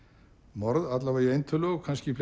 morð alla vega í eintölu og kannski